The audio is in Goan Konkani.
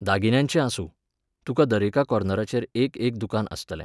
दागिन्यांचें आसूं, तुका दरेका कोर्नराचेर एक एक दुकान आसतलें.